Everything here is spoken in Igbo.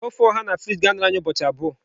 ofe oha na fridge ga-anọru anyị ụbọchị abụọ.